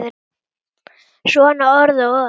Svona orð og orð.